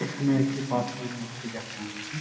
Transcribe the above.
এখানে একটি পাথরের মূর্তি দেখানো হয়েছে |